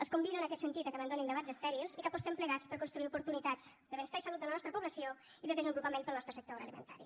els convido en aquest sentit que abandonin debats estèrils i que apostem plegats per construir oportunitats de benestar i salut de la nostra població i de desenvolupament per al nostre sector agroalimentari